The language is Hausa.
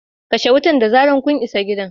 kashe wuta da zarar kun isa gidan